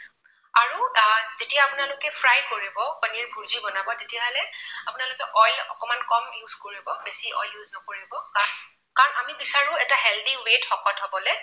যেতিয়া আপোনালোকে fry কৰিব পনীৰ ভূৰ্জি বনাব, তেতিয়াহলে আপোনালোকে oil অকণমান কম use কৰিব। বেছি oil use নকৰিব। কাৰণ আমি বিচাৰো এটা healthy way ত শকত হবলৈ